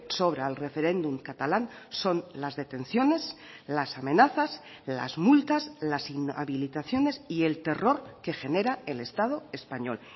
sobra al referéndum catalán son las detenciones las amenazas las multas las inhabilitaciones y el terror que genera el estado español